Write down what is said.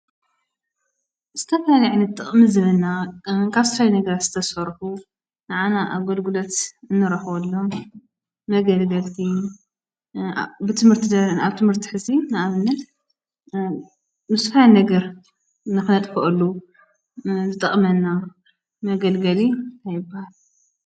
ዘተፍናዕኒ ጥቕሚ ዝምና ንካሥትራይ ነገር ዝተሠርሑ ንኣና ኣጐልጉለት እንረኅወሎም መገል ገልቲ ብትምህርትደ ንኣብ ትምህርቲ ሕዚ ነኣምነት ንስፋይ ነገር ነኽነት ክኦሉ ዘጠቕመና መገል ገሊ ኣይብሃል።